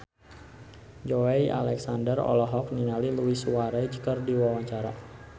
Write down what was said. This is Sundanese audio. Joey Alexander olohok ningali Luis Suarez keur diwawancara